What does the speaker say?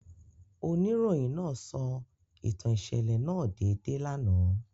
Onirohin naa sọ itan iṣẹlẹ naa deede lana.